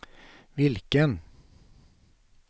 vilken